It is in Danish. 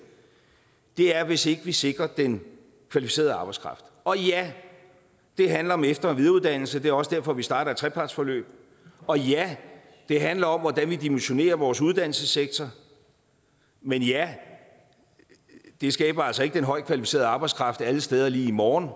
er hvis ikke vi sikrer den kvalificerede arbejdskraft og ja det handler om efter og videreuddannelse det er også derfor vi starter et trepartsforløb og ja det handler om hvordan vi dimensionerer vores uddannelsessektor men ja det skaber altså ikke den højt kvalificerede arbejdskraft alle steder lige i morgen